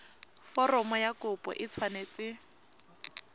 foromo ya kopo e tshwanetse